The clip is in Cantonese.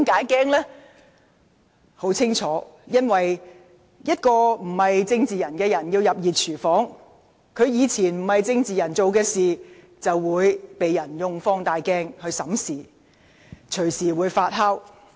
原因很清楚，一名非政治人物要進入"熱廚房"，以往以非政治人物身份所做的事會被人用放大鏡審視，隨時不斷發酵。